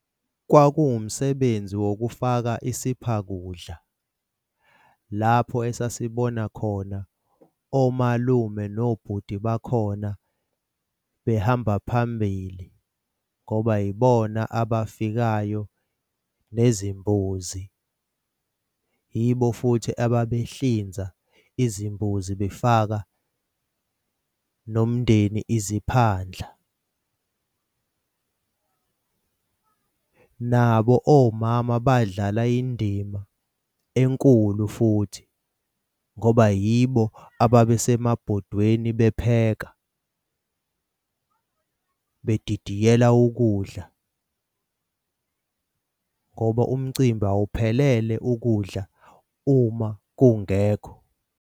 Kwawumsebenzi wokufaka isipha kudla lapho esasibona khona omalume nobhuti bakhona behamba phambili ngoba yibona abafikayo nezimbuzi, yibo futhi ababehlinza izimbuzi befaka nomndeni iziphandla. Nabo omama badlala indima enkulu futhi, ngoba yibo ababesemabhodweni bepheka bedidiyela ukudla ngoba umcimbi awuphelele ukudla uma kungekho.